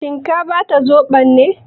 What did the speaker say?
Shin ka bata zobon ne?